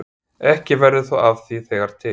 Ekki verður þó af því þegar til